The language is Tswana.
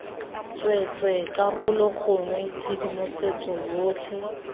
tsweetswee karolo gongwe tshedimosetso yotlhe